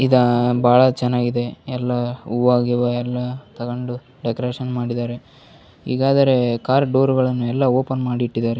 ಇದ ಬಹಳ ಚೆನ್ನಾಗಿದೆ ಎಲ್ಲ ಹೂವ ಗೀವ ಎಲ್ಲ ತಕೊಂಡು ಡೆಕೊರೇಷನ್ ಮಾಡಿದ್ದಾರೆ ಈಗಾದರೆ ಕಾರ್ ಡೋರ್ಗಳನ್ನು ಎಲ್ಲ ಓಪನ್ ಮಾಡಿಟ್ಟಿದ್ದಾರೆ.